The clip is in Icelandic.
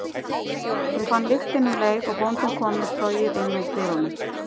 Hún fann lyktina um leið og bóndinn kom með trogið inn úr dyrunum.